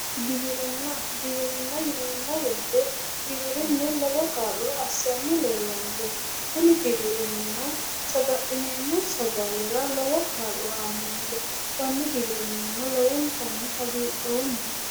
Giwirinna, Giwirinna yineemmo woyite giwirinnu lowo kaa'lo assanni leellanno. Kuni giwirinnino saga'lineemmo sagalera lowo kaa'lo aannonke. Konni giwirinnino lowontanni hagiidhoomma